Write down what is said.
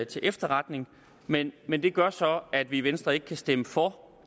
til efterretning men men det gør så at vi i venstre ikke kan stemme for